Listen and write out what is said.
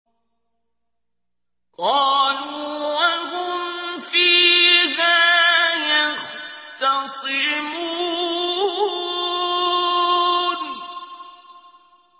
قَالُوا وَهُمْ فِيهَا يَخْتَصِمُونَ